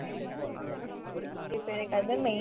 இப்ப எனக்கு அது தான் main